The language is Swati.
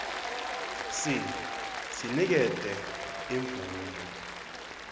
c sinikete imvumo